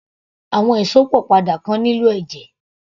Àwọn Ìsópọ̀ padà kan nílò ẹ̀jẹ̀